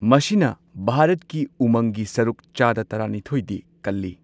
ꯃꯁꯤꯅ ꯚꯥꯔꯠꯀꯤ ꯎꯃꯪꯒꯤ ꯁꯔꯨꯛ ꯆꯥꯗ ꯇꯔꯥꯅꯤꯊꯣꯏꯗꯤ ꯀꯜꯂꯤ꯫